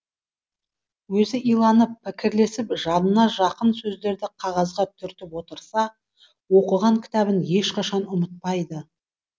өзі иланып пікірлесіп жанына жақын сөздерді қағазға түртіп отырса оқыған кітабын ешқашан ұмытпайды